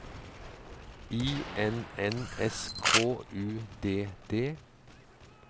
I N N S K U D D